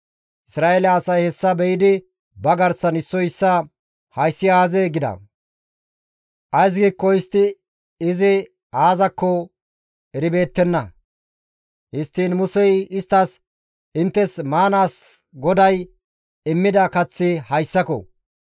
Isra7eele asay hessa be7idi ba garsan issoy issaa, «Hayssi aazee?» gida. Ays giikko istti izi aazakko eribeettenna. Histtiin Musey isttas, «Inttes maanaas GODAY immida kaththi hayssako.